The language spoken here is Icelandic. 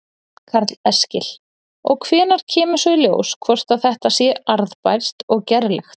Karl Eskil: Og hvenær kemur svo í ljós hvort að þetta sé arðbært og gerlegt?